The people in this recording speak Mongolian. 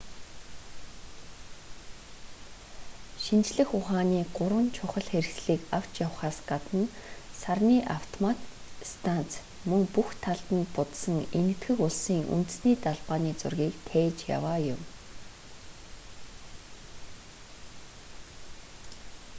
шинжлэх ухааны гурван чухал хэрэгслийг авч явахаас гадна сарны автомат станц мөн бүх талд нь будсан энэтхэг улсын үндэсний далбааны зургийг тээж яваа юм